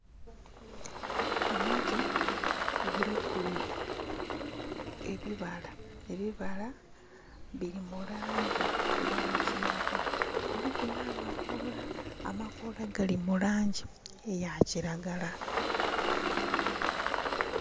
Omuti guliku ebibala biri mulangi eya kyenvu kuliku namakola, amakola gali mulangi eya kilagala.